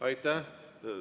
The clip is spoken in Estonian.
Aitäh!